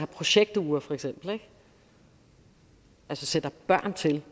projektuger altså sætter børn til